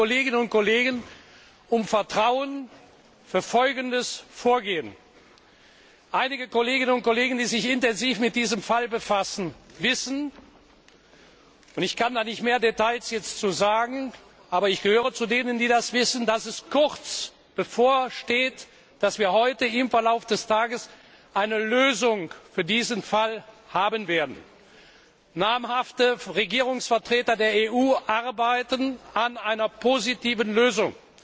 Ich bitte die Kolleginnen und Kollegen um Vertrauen für folgendes Vorgehen Einige Kolleginnen und Kollegen, die sich intensiv mit diesem Fall befassen, wissen und ich kann dazu jetzt nicht mehr Details sagen, aber ich gehöre zu denen, die das wissen dass es kurz bevorsteht, dass wir heute hier im Verlauf des Tages eine Lösung für diesen Fall haben werden. Namhafte Regierungsvertreter der EU arbeiten an einer positiven Lösung.